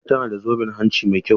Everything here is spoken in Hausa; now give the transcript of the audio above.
Murja tana da zoben hanci mai kyau.